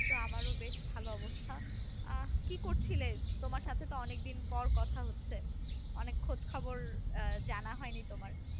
তো আমারও বেশ ভালো অবস্থা আহ কি করছিলে তোমার সাথে তো অনেকদিন পর কথা হচ্ছে। অনেক খোজ খবর আহ জানা হয় নি তোমার।